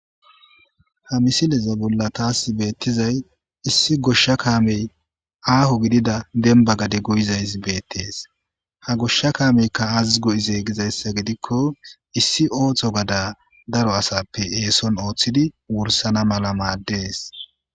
ha misileza bolla taasi beettizay issi goshsha kaamey aaho gidida demba gade goyizaysi beettees ha goshsha kaameykka aaziz go7izee gizayssa gidikko issi ooththo gada daro asappe eeson ooththidi wursana mala maaddees